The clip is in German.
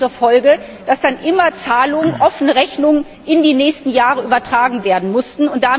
Das hatte zur Folge, dass dann immer Zahlungen, offene Rechnungen in die nächsten Jahre übertragen werden mussten.